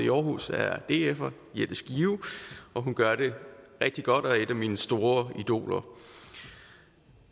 i aarhus er er dfer jette skive og hun gør det rigtig godt og er et af mine store idoler